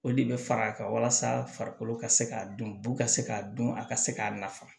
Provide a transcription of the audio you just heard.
O de bɛ far'a kan walasa farikolo ka se k'a dɔn bu ka se k'a dɔn a ka se k'a nafa